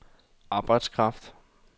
arbejdskraft